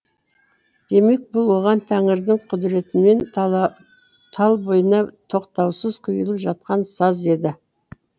демек бұл оған тәңірдің құдіретімен талбойына тоқтаусыз құйылып жатқан саз еді